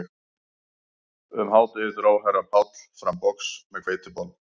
Um hádegið dró herra Páll fram box með hveitibollum